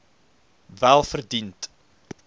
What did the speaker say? welverdiend